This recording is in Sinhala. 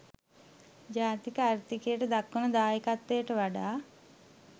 ජාතික ආර්ථිකයට දක්වන දායකත්වයට වඩා